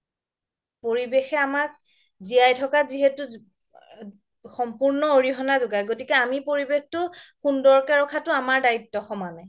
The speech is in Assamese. পৰিৱেশে আমাক জিৱাই থকা যিহেতু সম্পূৰ্ণ অৰিহনা যোগাই গতিকে আমি পৰিৱেশটো সুন্দৰকে ৰাখাটো আমাৰ দায়িত্ব সমানে